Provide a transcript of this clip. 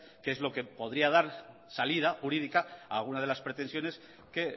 que es lo que podría dar salida jurídica a alguna de las pretensiones que